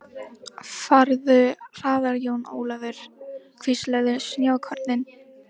Farðu hraðar Jón Ólafur, hvísluðu snjókornin.